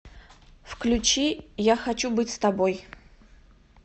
включи я хочу быть с тобой